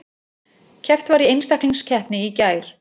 Keppt var í einstaklingskeppni í gær